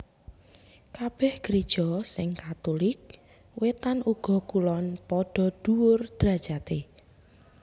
Kabèh Gréja sing Katulik Wétan uga Kulon padha dhuwur drajaté